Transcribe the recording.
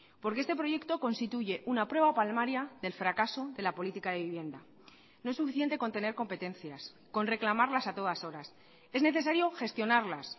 porque este proyecto constituye una prueba palmaria del fracaso de la política de vivienda no es suficiente con tener competencias con reclamarlas a todas horas es necesario gestionarlas